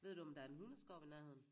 Ved du om der er en hundeskov ved nærheden?